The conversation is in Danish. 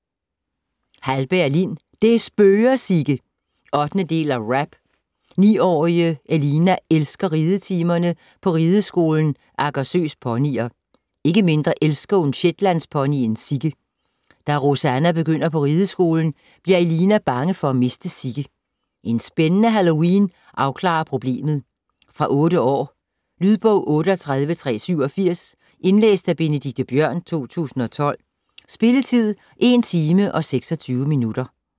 Hallberg, Lin: Det spøger, Sigge 8. del af RAP. 9-årige Elina elsker ridetimerne på Rideskolen Agersøs Ponyer. Ikke mindre elsker hun shetlandsponyen Sigge. Da Rosanna begynder på rideskolen, bliver Elina bange for at miste Sigge. En spændende Halloween afklarer problemet. Fra 8 år. Lydbog 38387 Indlæst af Benedikte Bjørn, 2012. Spilletid: 1 timer, 26 minutter.